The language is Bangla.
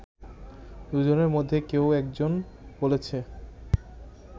দুজনের মধ্যে কেউ একজন বলেছে